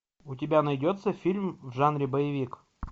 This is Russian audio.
у тебя найдется фильм в жанре боевик